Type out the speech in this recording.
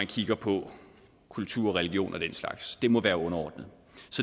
kigge på kultur religion og den slags det må være underordnet